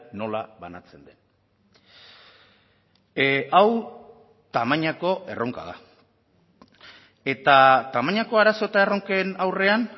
nola banatzen den hau tamainako erronka da eta tamainako arazo eta erronken aurrean